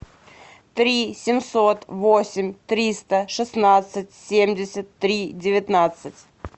три семьсот восемь триста шестнадцать семьдесят три девятнадцать